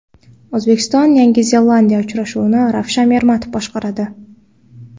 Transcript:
O‘zbekiston Yangi Zelandiya uchrashuvini Ravshan Ermatov boshqaradi.